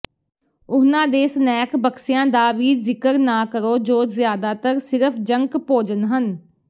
ਉਹਨਾਂ ਦੇ ਸਨੈਕ ਬਕਸਿਆਂ ਦਾ ਵੀ ਜ਼ਿਕਰ ਨਾ ਕਰੋ ਜੋ ਜ਼ਿਆਦਾਤਰ ਸਿਰਫ ਜੰਕ ਭੋਜਨ ਹਨ